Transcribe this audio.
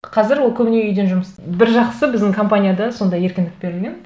қазір ол көбіне үйден бір жақсысы біздің компанияда сондай еркіндік берілген